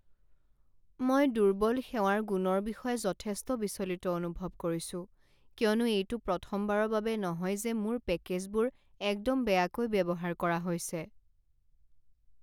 মই দুৰ্বল সেৱাৰ গুণৰ বিষয়ে যথেষ্ট বিচলিত অনুভৱ কৰিছো, কিয়নো এইটো প্ৰথমবাৰৰ বাবে নহয় যে মোৰ পেকেজবোৰ একদম বেয়াকৈ ব্যৱহাৰ কৰা হৈছে।